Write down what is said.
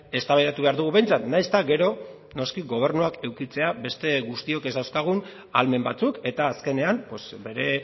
eztabaidatu behar dugu behintzat nahiz eta gero noski gobernuak edukitzea beste guztiok ez dauzkagun ahalmen batzuk eta azkenean bere